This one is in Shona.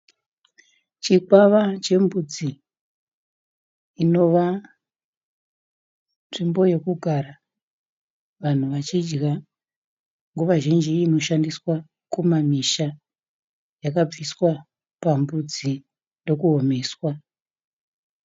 Chikwama chembudzi inova nzvimbo yekugara vanhu vachidya nguva zhinji inoshandiswa kumamusha. Yakabviswa pambudzi ndokuomeswa.